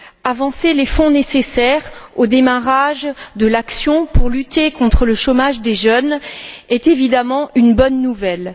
Avancer les fonds nécessaires au démarrage de l'action pour lutter contre le chômage des jeunes est évidemment une bonne nouvelle.